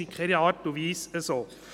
Das ist in keiner Art und Weise so.